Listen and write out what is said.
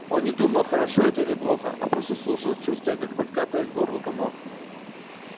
он не думал хорошо это или плохо а просто слушал чувствуя как подкатывает к горлу комок